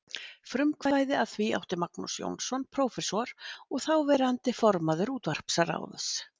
Frumkvæði að því átti Magnús Jónsson, prófessor og þáverandi formaður útvarpsráðs.